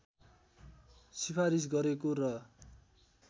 सिफारिस गरेको र